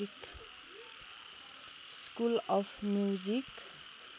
school of music